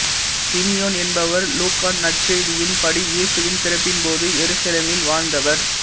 Simeon என்பவர் லூக்கா நற்செய்தியின்படி இயேசுவின் பிறப்பின்போது எருசலேமில் வாழ்ந்தவர்